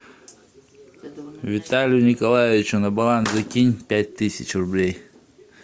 виталию николаевичу на баланс закинь пять тысяч рублей